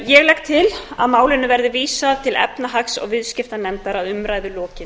ég legg til að málinu verði vísað til efnahags og viðskiptanefndar að umræðu lokinni